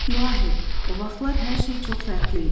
İlahi, o vaxtlar hər şey çox fərqli idi.